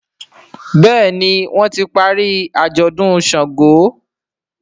Béèni wón tí parí ajọdun ṣàngó.